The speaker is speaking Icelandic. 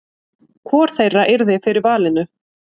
Hvor þeirra yrði fyrir valinu?